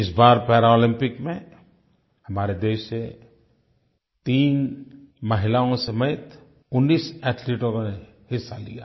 इस बार पैरालम्पिक्स में हमारे देश से 3 महिलाओं समेत 19 एथलीट्स ने हिस्सा लिया